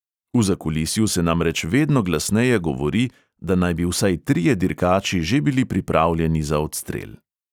V zakulisju se namreč vedno glasneje govori, da naj bi vsaj trije dirkači že bili pripravljeni za odstrel.